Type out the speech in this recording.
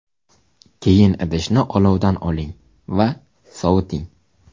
Keyin idishni olovdan oling va soviting.